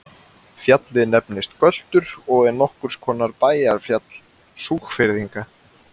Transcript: Fjallið nefnist Göltur og er nokkurs konar bæjarfjall Súgfirðinga.